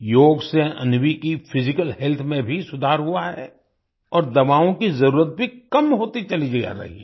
योग से अन्वी की फिजिकल हेल्थ में भी सुधार हुआ है और दवाओं की जरुरत भी कम होती चली जा रही है